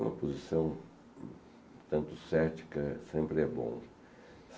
Uma posição tanto cética, sempre é bom.